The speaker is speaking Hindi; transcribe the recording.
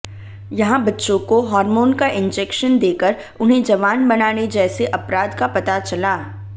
यहां बच्चों को हॉर्मोन का इंजेक्शन देकर उन्हें जवान बनाने जैसे अपराध का पता चला